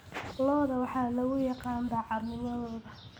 Lo'da waxaa lagu yaqaan daacadnimadooda.